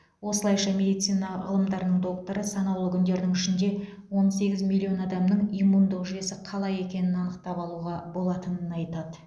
осылайша медицина ғылымдарының докторы санаулы күндердің ішінде он сегіз миллион адамның иммундық жүйесі қалай екенін анықтап алуға болатынын айтады